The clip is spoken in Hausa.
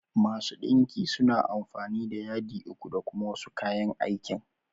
Masu ɗinki suna amfani da yadiku da kuma wasu kayan aikin.